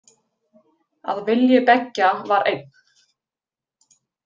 Að vilji beggja var einn.